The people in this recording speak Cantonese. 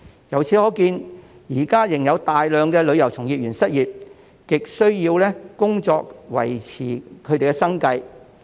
由此可見，現時仍有大量旅遊從業員失業，極需要工作維持生計。